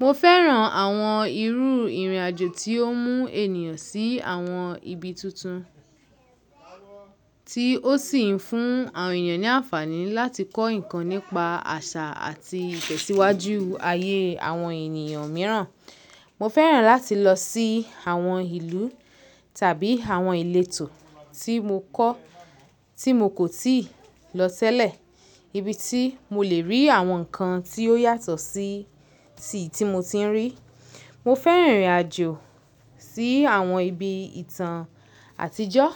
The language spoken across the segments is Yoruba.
Mo fẹ́ràn àwọn irú ìrìnàjò tí ó mú ènìyàn sí àwọn ibi tuntun, tí ó sì ń fún àwọn ènìyàn ní àǹfààní láti kọ́ ǹkan nípa àṣà àti ìtẹ̀síwájú ayé àwọn ènìyàn mìíràn. Mo fẹ́ràn láti lọ sí àwọn ìlú tàbí àwọn ìletò tí mo kọ́, tí mo kò tíì lọ tẹ́lẹ̀, ibi tí mo lè rí àwọn ǹkan tí ó yàtọ̀ sí ti tí mo ti ń rí. Mo fẹ́ràn ìrìnàjò sí àwọn ibi ìtàn àtijọ́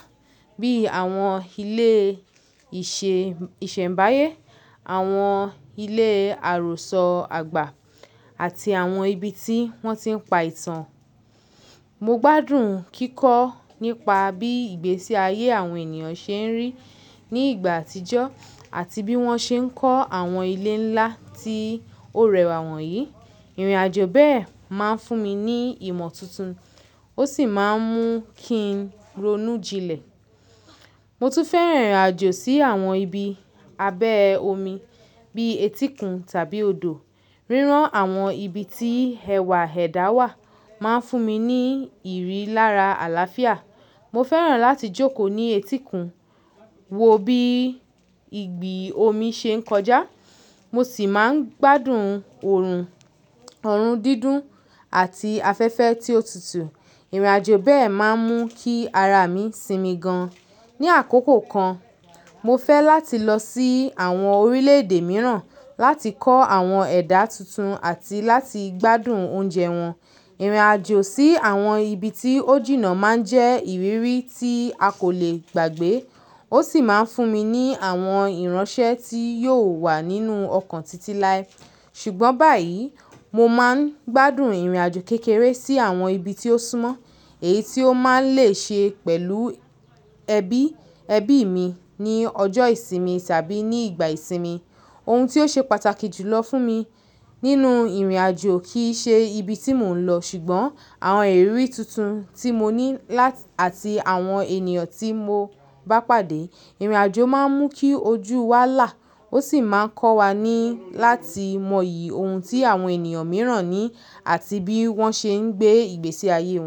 bí i àwọn ilé ìṣe ìsẹ̀mbáyé, àwọn ilé àròsọ àgbà àti àwọn ibi tí wọ́n ti ń pa ìtàn. Mo gbádùn kíkọ́ nípa bí ìgbésí ayé àwọn ènìyàn ṣe ń rí ní ìgbà àtijọ́ àti bí wọ́n ṣe ń kọ́ àwọn ilé ńlá tí ó rẹwà wọ̀nyí. Ìrìnàjò bẹ́ẹ̀ máa ń fún mi ní ìmọ̀ tuntun, ó sì máa ń mú kí n ronú jinlẹ̀. Mo tún fẹ́ràn ìrìnàjò sí àwọn ibi abẹ́ omi bíi etíkun tàbí odò. Rírán àwọn ibi tí ẹwà ẹ̀dá wà máa ń fún mi ní ìrírí lára àlàáfíà. Mo fẹ́ràn láti jókòó ní etíkun, wo bí ìgbì omi ṣe ń kọjá. Mo sì máa ń gbádùn òòrùn, ọ̀run dídùn àti afẹ́fẹ́ tí ó tutù. Ìrìnàjò bẹ́ẹ̀ máa ń mú kí ara mi sinmi gan-an. Ni àkókò kan, mo fẹ́ láti lọ sí àwọn orílẹ̀-èdè mìíràn láti kọ́ àwọn ẹ̀dá tuntun àti láti gbádùn oúnjẹ wọn. Ìrìnàjò sí àwọn ibi tí ó jìnnà máa ń jẹ́ ìrírí tí a kò lè gbàgbé. Ó sì máa ń fún mi ní àwọn ìránṣẹ́ tí yóò wà nínú ọkàn títí láé. Ṣùgbọ́n báyìí, mo máa ń gbádùn ìrìnàjò kékeré sí àwọn ibi tí ó súmọ́, èyí tí ó máa ń lè ṣe pẹ̀lú ẹbí, ẹbí mi ní ọjọ́ ìsinmi tàbí ní ìgbà ìsinmi. Ohun tí ó ṣe pàtàkì jùlọ fún mi nínú ìrìnàjò kì í ṣe ibi tí mò ń lọ, ṣùgbọ́n àwọn ìrírí tuntun tí mo ní láti àti àwọn ènìyàn tí mo bá pàdé. Ìrìnàjò máa ń mú kí ojú wa là, ó sì máa ń kọ́ wa ní láti mọyì ohun tí àwọn ènìyàn mìíràn ní àti bí wọ́n ṣe ń gbé ìgbésí ayé won.